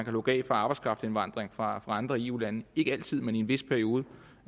lukke af for arbejdskraftindvandringen fra andre eu lande ikke altid men i en vis periode